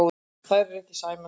Þær eru ekki sæmandi.